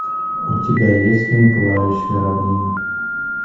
у тебя есть фильм пылающая равнина